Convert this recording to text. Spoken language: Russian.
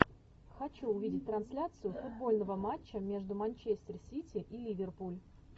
хочу увидеть трансляцию футбольного матча между манчестер сити и ливерпуль